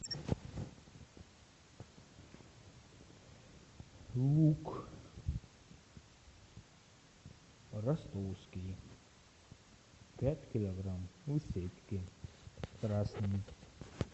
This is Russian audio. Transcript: лук ростовский пять килограмм в сетке красный